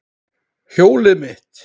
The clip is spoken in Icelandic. Hjólið mitt!